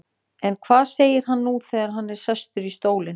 En hvað segir hann nú þegar hann er sestur í stólinn?